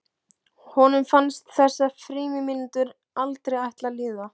Honum fannst þessar frímínútur aldrei ætla að líða.